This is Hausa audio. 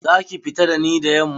Za ki fita da ni da yamma?